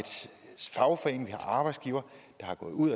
fagforening vi har arbejdsgivere der er gået ud